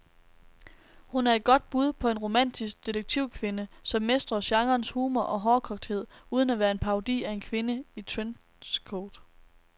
Hun er et godt bud på en romantisk detektivkvinde, som mestrer genrens humor og hårdkogthed uden at være en parodi af en kvinde i trenchcoat.